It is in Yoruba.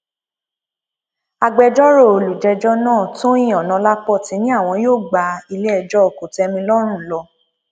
agbẹjọrò olùjẹjọ náà tọyìn onọlápọ ti ní àwọn yóò gba iléẹjọ kòtẹmilọrùn lọ